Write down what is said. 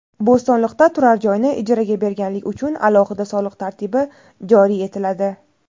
Bo‘stonliqda turar joyni ijaraga berganlik uchun alohida soliq tartibi joriy etiladi.